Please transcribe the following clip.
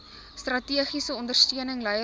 strategiese ondersteuning leierskap